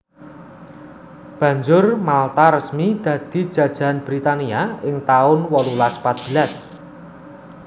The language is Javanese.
Banjur Malta resmi dadi jajahan Britania ing taun wolulas patbelas